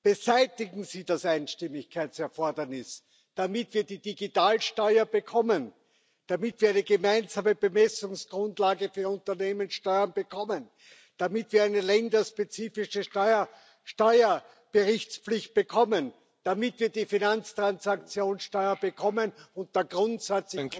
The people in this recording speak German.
Beseitigen Sie das Einstimmigkeitserfordernis, damit wird die Digitalsteuer bekommen, damit wir eine gemeinsame Bemessungsgrundlage für Unternehmenssteuern bekommen, damit wir eine länderspezifische Steuerberichtspflicht bekommen, damit wir die Finanztransaktionssteuer bekommen, und der Grundsatz